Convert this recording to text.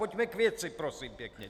Pojďme k věci, prosím pěkně.